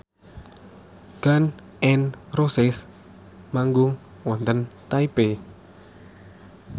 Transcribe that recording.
Gun n Roses manggung wonten Taipei